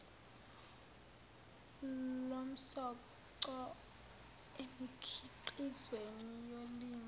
lomsoco emikhiqizweni yolimo